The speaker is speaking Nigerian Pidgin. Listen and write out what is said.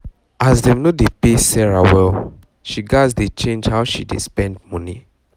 as dem no dey pay sarah well she gats dey change how she dey um spend money